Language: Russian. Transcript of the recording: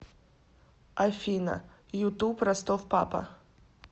афина ютуб ростов папа